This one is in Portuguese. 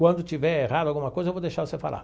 Quando tiver errado alguma coisa, eu vou deixar você falar.